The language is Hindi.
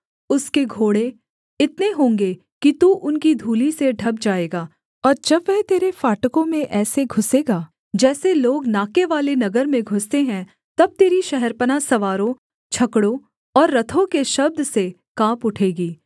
उसके घोड़े इतने होंगे कि तू उनकी धूलि से ढँप जाएगा और जब वह तेरे फाटकों में ऐसे घुसेगा जैसे लोग नाकेवाले नगर में घुसते हैं तब तेरी शहरपनाह सवारों छकड़ों और रथों के शब्द से काँप उठेगी